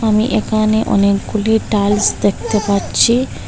আমি এখানে অনেকগুলি টাইলস দেখতে পাচ্ছি।